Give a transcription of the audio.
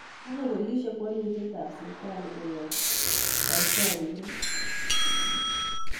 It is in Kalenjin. Koonye boliisyek walutietab sibitali koyob taktooriintet